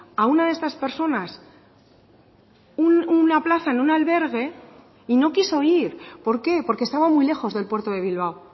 a una de estas personas una plaza en un albergue y no quiso ir por qué porque estaba muy lejos del puerto de bilbao